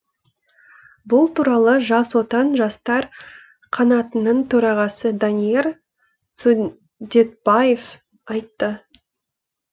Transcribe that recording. бұл туралы жас отан жастар қанатының төрағасы данияр сүндетбаев айтты